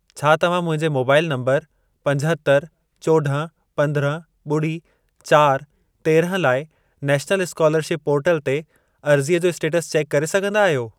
छा तव्हां मुंहिंजे मोबाइल नंबर पंजहतरि, चोॾहं, पंद्रहं, ॿुड़ी, चारि, तेरहं लाइ नैशनल स्कोलरशिप पोर्टल ते अर्ज़ीअ जो स्टेटस चेक करे सघंदा आहियो?